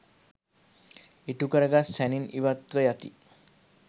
ඉටුකරගත් සැනින් ඉවත්ව යති.